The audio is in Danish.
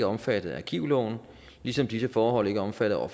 omfattet af arkivloven ligesom disse forhold ikke er omfattet af